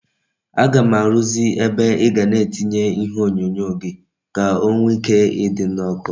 Aga m arụzị ebe ịga na etinye ihe onyonyo gi ka o nwe ike idi na oku